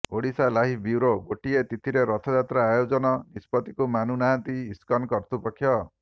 Odisha live bureau ଗୋଟିଏ ତିଥିରେ ରଥଯାତ୍ରା ଆୟୋଜନ ନିଷ୍ପତ୍ତିକୁ ମାନୁ ନାହାନ୍ତି ଇସ୍କନ କର୍ତ୍ତୃପକ୍ଷ